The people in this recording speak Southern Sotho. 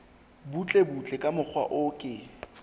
butlebutle ka mokgwa o ke